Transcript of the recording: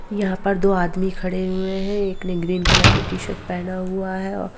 यहां पर दो आदमी खड़े हुए है एक ने ग्रीन कलर की टी शर्ट पहना हुआ है और--